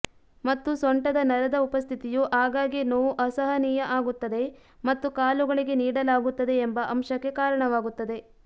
ಮತ್ತು ಸೊಂಟದ ನರದ ಉಪಸ್ಥಿತಿಯು ಆಗಾಗ್ಗೆ ನೋವು ಅಸಹನೀಯ ಆಗುತ್ತದೆ ಮತ್ತು ಕಾಲುಗಳಿಗೆ ನೀಡಲಾಗುತ್ತದೆ ಎಂಬ ಅಂಶಕ್ಕೆ ಕಾರಣವಾಗುತ್ತದೆ